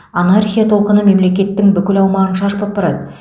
анархия толқыны мемлекеттің бүкіл аумағын барады